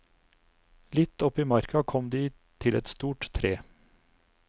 Litt opp i marka kom de til et stort tre.